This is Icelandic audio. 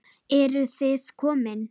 Eruð þið komin!